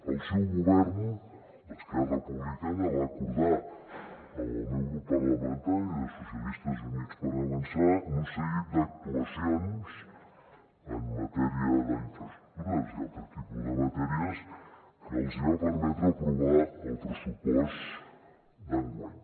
el seu govern d’esquerra republicana va acordar amb el meu grup parlamentari socialistes i units per avançar un seguit d’actuacions en matèria d’infraestructures i altres tipus de matèries que els hi va permetre aprovar el pressupost d’enguany